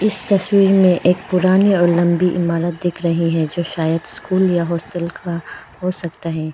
इस तस्वीर मे एक पुरानी और लंबी इमारत दिख रही है जो शायद स्कूल या हॉस्टल का हो सकता है।